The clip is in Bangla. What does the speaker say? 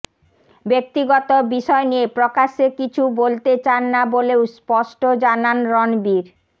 ব্যক্তিগত বিষয় নিয়ে প্রকাশ্যে কিছু বলতে চান না বলেও স্পষ্ট জানান রণবীর